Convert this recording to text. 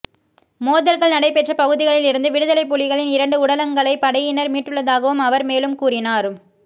மோதல்கள் நடைபெற்ற பகுதிகளில் இருந்து விடுதலைப் புலிகளின் இரண்டு உடலங்களை படையினர் மீட்டுள்ளதாகவும் அவர் மேலும் கூறினார்